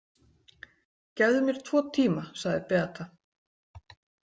Gefðu mér tvo tíma, sagði Beata.